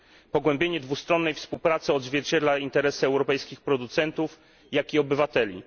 Pogłębienie dwustronnej współpracy odzwierciedla interesy zarówno europejskich producentów, jak i obywateli.